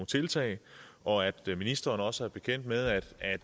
tiltag og at ministeren også er bekendt med at